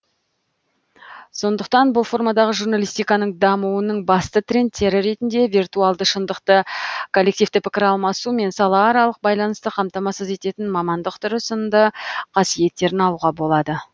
сондықтан бұл формадағы журналистиканың дамуының басты трендтері ретінде виртуалды шындықты коллективті пікір алмасу мен салааралық байланысты қамтамасыз ететін мамандық түрі сынды қасиеттерін алуға болады